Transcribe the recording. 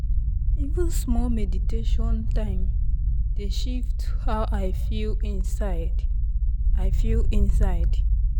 even small meditation time dey shift how i feel inside. i feel inside.